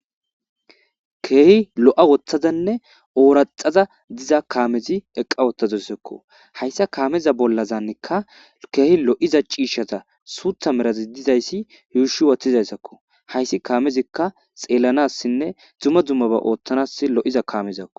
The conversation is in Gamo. keehi lo7a woththazanne ooraxaza diza kaamezi eqqa wottazassakko hayssa kaameza bollazaannekka keehi lo7iza ciishshaza suutha merazi dizayssi huushi wathizayssakko hayssi kaamezikka xeellanassinne dzumma dzummaba ooththanas lo7iza kaamezakko